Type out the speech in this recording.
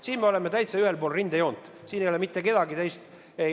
Siin me oleme täitsa ühel pool rindejoont, siin ei ole mitte kedagi teist.